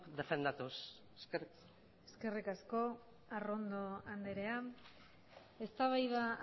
defendatuz eskerrik asko eskerrik asko arrondo anderea eztabaida